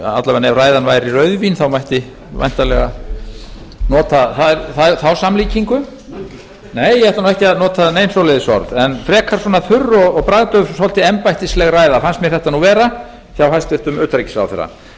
alla vega ef ræðan væri rauðvín mætti væntanlega nota þá samlíkingu nei ég ætla ekki að nota nein svoleiðis orð en frekar svona þurr bragðdauf og svolítið embættisleg ræða fannst mér þetta nú vera hjá hæstvirtum utanríkisráðherra